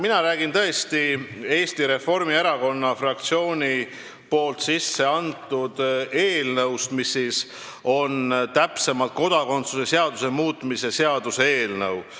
Mina räägin Eesti Reformierakonna fraktsiooni üleantud eelnõust, täpsemalt kodakondsuse seaduse muutmise seaduse eelnõust.